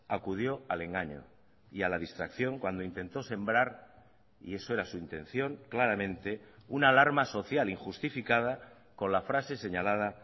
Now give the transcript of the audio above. acudió al engaño y a la distracción cuando intentó sembrar y eso era su intención claramente una alarma social injustificada con la frase señalada